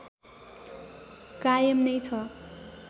कायम नै छ